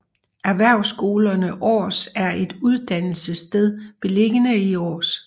Erhvervsskolerne Aars er et uddannelsessted beliggende i Aars